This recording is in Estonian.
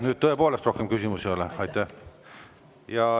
Nüüd tõepoolest rohkem küsimusi ei ole.